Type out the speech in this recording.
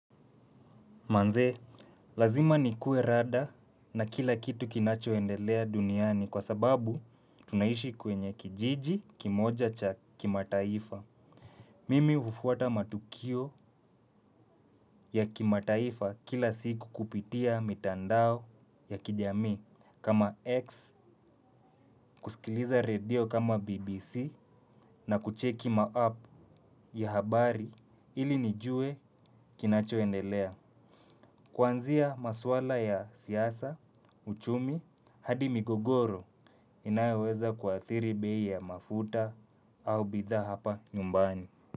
Manzee, lazima nikue rada na kila kitu kinachoendelea duniani kwa sababu tunaishi kwenye kijiji kimoja cha kimataifa. Mimi hufuata matukio ya kimataifa kila siku kupitia mitandao ya kijami kama X, kusikiliza radio kama BBC na kucheki ma app ya habari ili nijue kinachoendelea. Kuanzia maswala ya siaasa, uchumi, hadi migogoro inayoweza kuathiri bei ya mafuta au bidhaa hapa nyumbani.